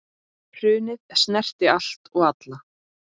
Hrunið snerti allt og alla.